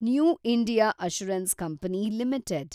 new India assurance company limited